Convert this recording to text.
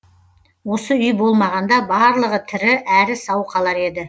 осы үй болмағанда барлығы тірі әрі сау қалар еді